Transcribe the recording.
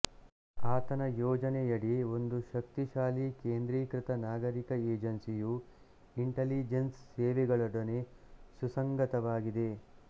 ಆತನ ಯೋಜನೆಯಡಿ ಒಂದು ಶಕ್ತಿಶಾಲಿ ಕೇಂದ್ರೀಕೃತ ನಾಗರೀಕ ಏಜೆನ್ಸಿಯು ಇಂಟಲಿಜೆನ್ಸ್ ಸೇವೆಗಳೊಡನೆ ಸುಸಂಗತವಾಗಿದೆ